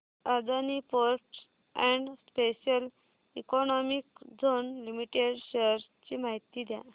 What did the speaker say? Adani ports and special economic zone limited shares ची माहिती द्या